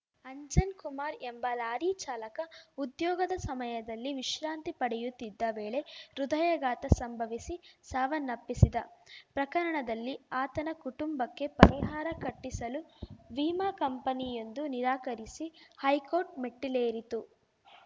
ಅಂಜನ್‌ ಕುಮಾರ್‌ ಎಂಬ ಲಾರಿ ಚಾಲಕ ಉದ್ಯೋಗದ ಸಮಯದಲ್ಲಿ ವಿಶ್ರಾಂತಿ ಪಡೆಯುತ್ತಿದ್ದ ವೇಳೆ ಹೃದಯಘಾತ ಸಂಭವಿಸಿ ಸಾವನ್ನಪ್ಪಿಸಿದ ಪ್ರಕರಣದಲ್ಲಿ ಆತನ ಕುಟುಂಬಕ್ಕೆ ಪರಿಹಾರ ಕಟ್ಟಿಸಲು ವಿಮಾ ಕಂಪನಿಯೊಂದು ನಿರಾಕರಿಸಿ ಹೈಕೋರ್ಟ್‌ ಮೆಟ್ಟಿಲೇರಿತ್ತು